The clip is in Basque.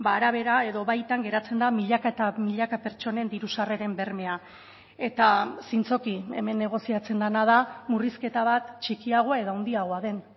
arabera edo baitan geratzen da milaka eta milaka pertsonen diru sarreren bermea eta zintzoki hemen negoziatzen dena da murrizketa bat txikiagoa edo handiagoa den